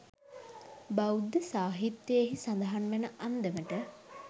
බෞද්ධ සාහිත්‍යයෙහි සඳහන් වන අන්දමට,